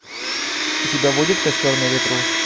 у тебя будет костер на ветру